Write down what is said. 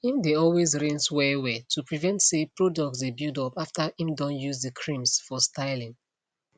im dae always rinse wellwell to prevent say products dae build up after im don use the creams for styling